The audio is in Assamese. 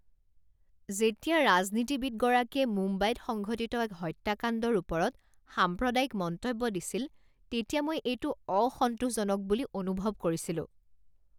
যেতিয়া ৰাজনীতিবিদগৰাকীয়ে মুম্বাইত সংঘটিত এক হত্যাকাণ্ডৰ ওপৰত সাম্প্ৰদায়িক মন্তব্য দিছিল তেতিয়া মই এইটো অসন্তোসজনক বুলি অনুভৱ কৰিছিলোঁ।